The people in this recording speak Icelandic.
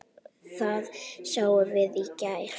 Það sáum við í gær.